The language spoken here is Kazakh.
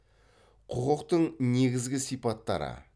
құқықтың негізгі сипаттары